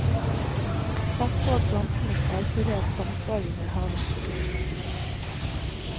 Pass på at plantenes hardførhet samsvarer med havens beliggenhet.